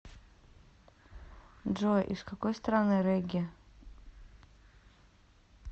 джой из какой страны регги